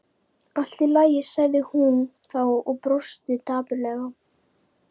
Allt í lagi sagði hún þá og brosti dapurlega.